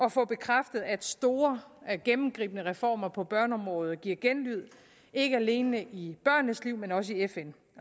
at få bekræftet at store gennemgribende reformer på børneområdet giver genlyd ikke alene i børnenes liv men også i fn